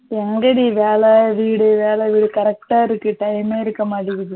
எங்கடி வேல வீடு வேல வீடு கரக்ட்டா இருக்கு. time மே இருக்க மாட்டிங்குது